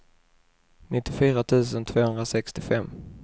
nittiofyra tusen tvåhundrasextiofem